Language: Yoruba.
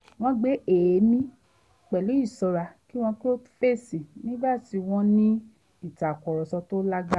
wọ́n gbé èémí pẹ̀lú ìṣọ́ra kí wọ́n tó fèsì nígbà tí wọ́n ń ní ìtakúrọ̀sọ tó lágbára